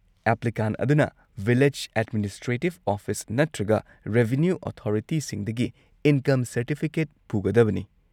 Applicant ꯑꯗꯨꯅ village administrative office ꯅꯠꯇ꯭ꯔꯒ revenue ꯑꯣꯊꯣꯔꯤꯇꯤꯁꯤꯡꯗꯒꯤ ꯏꯟꯀꯝ ꯁꯔꯇꯤꯐꯤꯀꯦꯠ ꯄꯨꯒꯗꯕꯅꯤ꯫